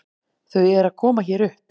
Þau eru að koma hér upp.